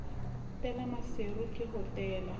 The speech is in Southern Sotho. tela maseru ke ho tela